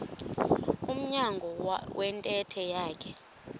emnyango wentente yakhe